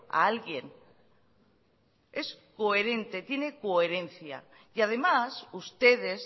a alguien es coherente tiene coherencia y además ustedes